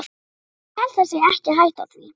Ég held það sé ekki hætta á því.